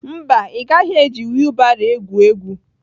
Mba, ị gaghị eji wiilbaro egwu egwu